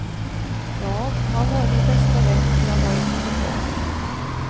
Ja, han var min bästa vän när jag var ett litet barn.